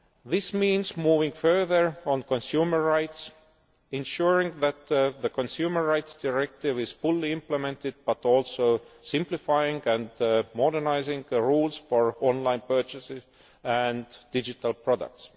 This means moving further on consumer rights, ensuring that the Consumer Rights Directive is fully implemented but also simplifying and modernising the rules for online purchases and digital products.